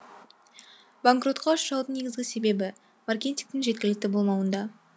банкротқа ұшыраудың негізгі себебі маркетингтің жеткілікті болмауында